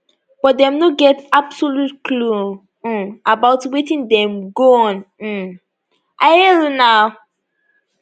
but dem no get absolute clue um about wetin dey go on um i hail una